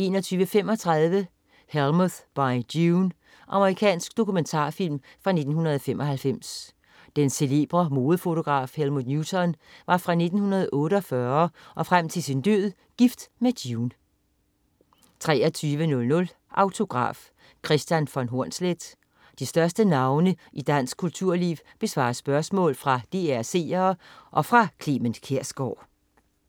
21.35 Helmut By June. Amerikansk dokumentarfilm fra 1995. Den celebre modefotograf Helmut Newton var fra 1948 og frem til sin død gift med June 23.00 Autograf: Kristian von Hornsleth. De største navne i dansk kulturliv besvarer spørgsmål fra DR's seere og fra Clement Kjersgaard